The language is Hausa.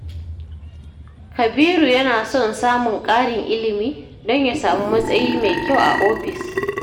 Kabiru yana son samun ƙarin ilimi don ya samu matsayi mai kyau a ofis.